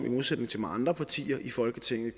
modsætning til mange andre partier i folketinget